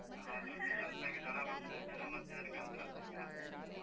ಹೌದೌದು, ಸ್ವಲ್ಪ ಈಗ ಜ್ವರ ಬಂದ್ರೆ, ಜನ ಮತ್ತೆ ಹೆದ್ರ್ಕಂತ್ರಲ್ಲ ಈಗ, ಆ ಮತ್ತ್.